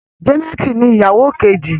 Janet ní ìyàwó Kejì.